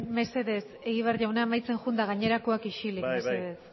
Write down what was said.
mesedez egibar jauna amaitzen joan eta gainerakoak isilik mesedez